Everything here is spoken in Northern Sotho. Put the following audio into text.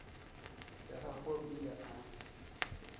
ya gagwe o ile a